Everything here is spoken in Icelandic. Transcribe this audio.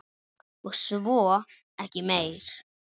Og svo ekki meir.